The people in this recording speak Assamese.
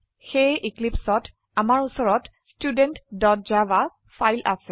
সেয়েএক্লীপ্সত আমাৰ উচৰতStudentjava ফাইল আছে